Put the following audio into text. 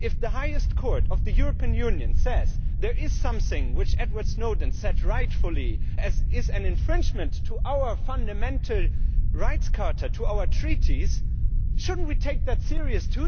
If the highest court of the European Union says there is something which Edward Snowden rightfully said is an infringement to the Fundamental Rights Charter to our Treaties, should we not take that seriously?